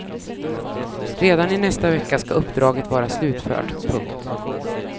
Redan i nästa vecka ska uppdraget vara slutfört. punkt